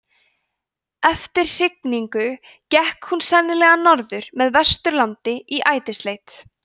eftir hrygningu gekk hún sennilega norður með vesturlandi í ætisleit